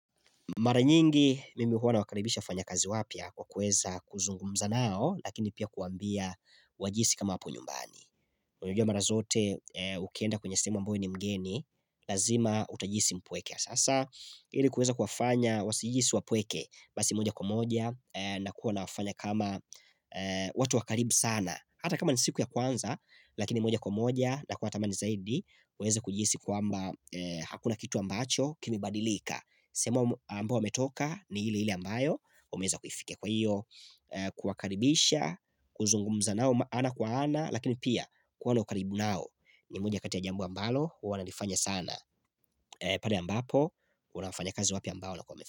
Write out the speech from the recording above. Mara nyingi mimi huwa nawakaribisha wafanyakazi wapya kwa kueza kuzungumza nao lakini pia kuwaambia wajihisi kama wapo nyumbani. Unajua mara zote ukienda kwenye sehemu ambayo we ni mgeni, lazima utajihisi mpweke. Sasa ili kueza kuwafanya wasijihisi wapweke basi moja kwa moja na kuwa na wafanya kama watu wakaribu sana. Hata kama ni siku ya kwanza lakini moja kwa moja na kuatama ni zaidi kueza kujihisi kwamba hakuna kitu ambacho kimebadilika. Sehemu ambayo wametoka ni ili ili ambayo wameeza kuifikia kwa hiyo Kuwakaribisha kuzungumza nao ana kwa ana Lakini pia kuwa na ukaribu nao ni moja katia jambu ambalo Uwa nalifanya sana pale ambapo kuna wanafanyikazi wapya ambao wamefanya.